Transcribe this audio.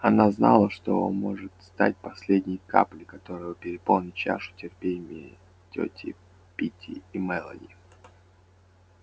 она знала что может стать последней каплей которая переполнит чашу терпения тёти питти и мелани